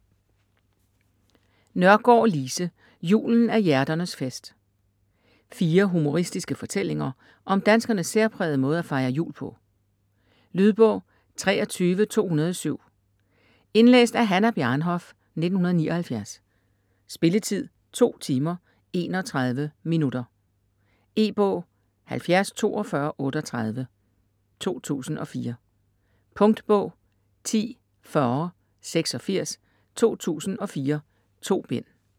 Nørgård, Lise: Julen er hjerternes fest Fire humoristiske fortællinger om danskernes særprægede måde at fejre jul på. Lydbog 23207 Indlæst af Hannah Bjarnhof, 1979. Spilletid: 2 timer, 31 minutter. E-bog 704238 2004. Punktbog 104086 2004. 2 bind.